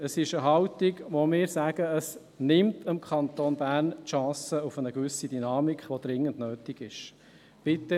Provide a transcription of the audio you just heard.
Es ist eine Haltung, von der wir sagen, dass sie dem Kanton Bern die Chance nimmt auf eine gewisse Dynamik, die dringend nötig ist.